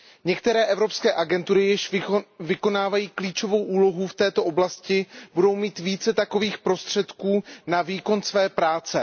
Některé evropské agentury již vykonávají klíčovou úlohu v této oblasti, budou mít více takových prostředků na výkon své práce.